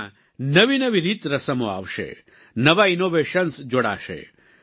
તેમાં નવી નવી રીતરસમો આવશે નવા ઈનોવેશન્સ જોડાશે